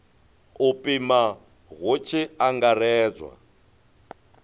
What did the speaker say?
u pima hu tshi angaredzwa